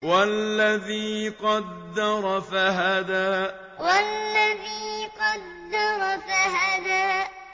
وَالَّذِي قَدَّرَ فَهَدَىٰ وَالَّذِي قَدَّرَ فَهَدَىٰ